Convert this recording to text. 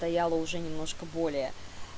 стояла уже немножко более